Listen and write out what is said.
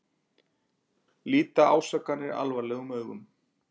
Líta ásakanir alvarlegum augum